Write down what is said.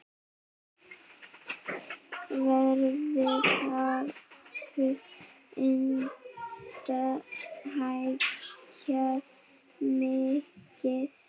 Verðið hafi enda hækkað mikið.